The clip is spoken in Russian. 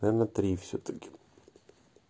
наверное три всё-таки